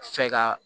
Fɛ ka